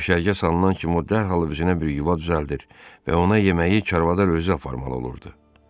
Düşərgə salınan kimi o dərhal özünə bir yuva düzəldir və ona yeməyi çarvadar özü aparmalı olurdu.